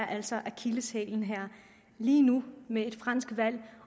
altså akilleshælen her lige nu med et fransk valg